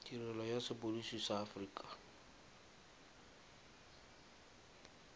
tirelo ya sepodisi sa aforika